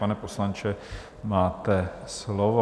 Pane poslanče, máte slovo.